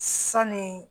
Sanni